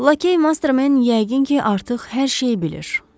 Lakey Mastermen yəqin ki, artıq hər şeyi bilir.